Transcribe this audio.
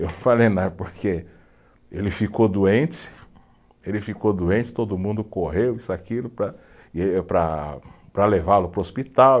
Eu falei, não é porque ele ficou doente, ele ficou doente, todo mundo correu, isso e aquilo para, e para, para levá-lo para o hospital.